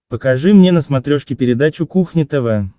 покажи мне на смотрешке передачу кухня тв